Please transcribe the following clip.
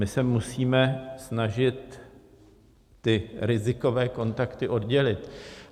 My se musíme snažit ty rizikové kontakty oddělit.